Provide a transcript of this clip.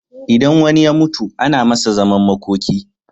Idan wani ya mutu ana Masa zaman makoki